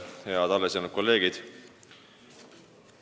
Head alles jäänud kolleegid!